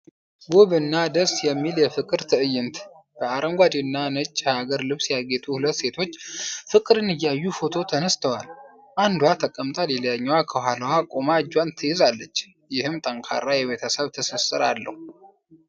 ውብና ደስ የሚል የፍቅር ትዕይንት! በአረንጓዴና ነጭ የሐገር ልብስ ያጌጡ ሁለት ሴቶች ፍቅርን እያሳዩ ፎቶ ተነስተዋል። አንዷ ተቀምጣ ሌላኛዋ ከኋላዋ ቆማ እጇን ትይዛለች፤ ይህም ጠንካራ የቤተሰብ ትስስርን አለው።